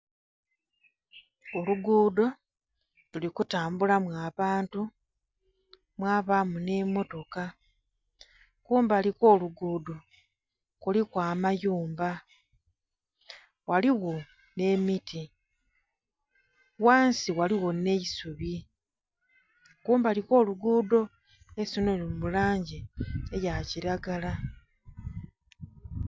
Olugudho luli kutambulamu abantu mwabamu nhi mmotoka. Kumbali kw'olugudho kuliku amayumba ghaligho nh'emiti. Ghansi ghaligho nh'eisubi kumbali kw'olugudho eisubi lino lili mu langi eya kilagala